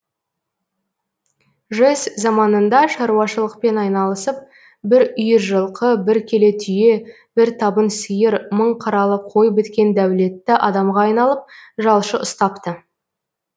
жэс заманында шаруашылықпен айналысып бір үйір жылқы бір келе түйе бір табын сиыр мың қаралы қой біткен дәулетті адамға айналып жалшы ұстапты